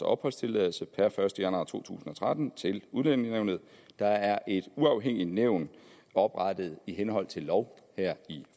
opholdstilladelse per første januar to tusind og tretten til udlændingenævnet der er et uafhængigt nævn oprettet i henhold til lov her i